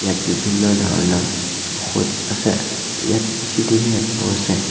ইয়াত বিভিন্ন ধৰণৰ ঔষধ আছে ইয়াত চি_চি_টি_ভি এটাও আছে।